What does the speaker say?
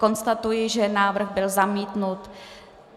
Konstatuji, že návrh byl zamítnut.